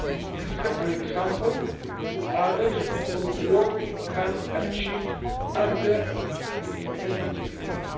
This is an example to others on what we can achieve under the Energy Union.